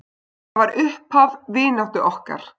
Það var upphaf vináttu okkar.